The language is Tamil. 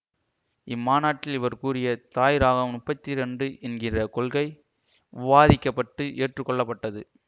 இம்மாநாட்டில் இவர் கூறிய தாய் இராகம் முப்பத்தி இரண்டு என்கிற கொள்கை விவாதிக்க பட்டு ஏற்று கொள்ளப்பட்டது